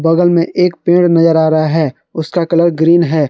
बगल में एक पेड़ नजर आ रहा है उसका कलर ग्रीन है।